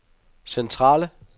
centrale